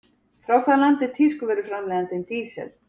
Frá hvaða landi er tískuvöruframleiðandinn Diesel?